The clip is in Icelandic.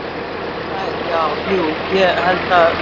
Þær já. jú ég held að.